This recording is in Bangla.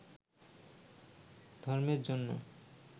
ধর্মের জন্য